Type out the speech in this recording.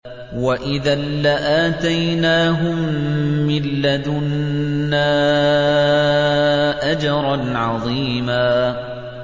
وَإِذًا لَّآتَيْنَاهُم مِّن لَّدُنَّا أَجْرًا عَظِيمًا